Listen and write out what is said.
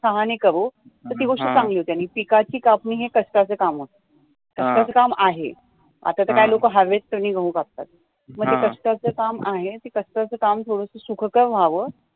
सहाणे करू तर ती गोष्ट चांगली आहे आणी पीकाची कापणी ही कष्टाची काम आहे पीकाच काम आहे आता काय तर लोक हवेत करतात मग ते कष्टाचे काम आहे ते सुखकर व्हावं